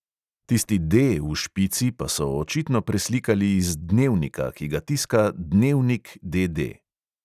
Tisti D v špici pa so očitno preslikali iz dnevnika, ki ga tiska dnevnik, D D.